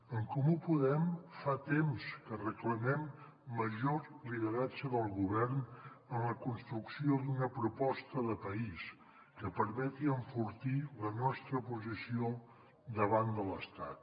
en comú podem fa temps que reclamem major lideratge del govern en la construcció d’una proposta de país que permeti enfortir la nostra posició davant de l’estat